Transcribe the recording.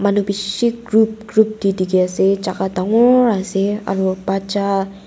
manu bishi group group tae dikhiase jaka dangoor ase aro bacha--